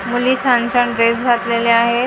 मुली छान छान ड्रेस घातलेल्या आहेत इथे --